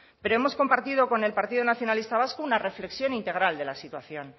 pero hemos compartido con el partido nacionalista vasco una reflexión integral de la situación